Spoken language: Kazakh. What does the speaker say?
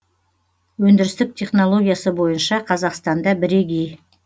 өндірістік технологиясы бойынша қазақстанда бірегей